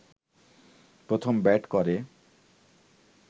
প্রথম ব্যাট করে